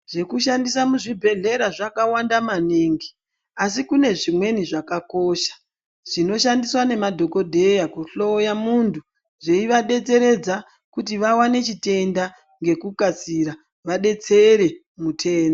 Zvekushandisa muzvibhedhlera zvakawand amaningi asi kune zvimweni zvakakosha zvinoshandiswa ngemadhokodheya kuhloya munhu zveivadetseredza kuti vaone chitenda ngekukasira vadetsere mutenda.